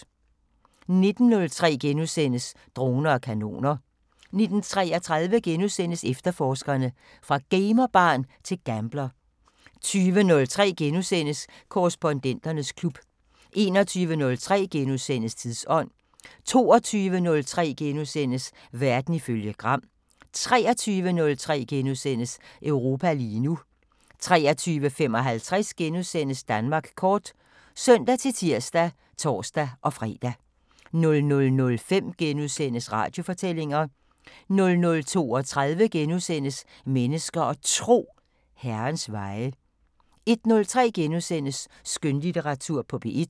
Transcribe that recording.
19:03: Droner og kanoner * 19:33: Efterforskerne: Fra gamer-barn til gambler * 20:03: Korrespondenternes klub * 21:03: Tidsånd * 22:03: Verden ifølge Gram * 23:03: Europa lige nu * 23:55: Danmark kort *(søn-tir og tor-fre) 00:05: Radiofortællinger * 00:32: Mennesker og Tro: Herrens veje * 01:03: Skønlitteratur på P1 *